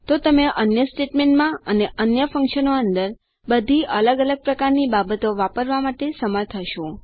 તો તમે અન્ય સ્ટેટમેન્ટમાં અને અન્ય ફ્ન્ક્શનો અંદર બધી અલગ અલગ પ્રકારની બાબતો વાપરવા માટે સમર્થ હશો